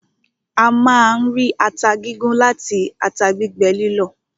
A máa ń rí ata gígún láti ata gbígbẹ lílọ̀.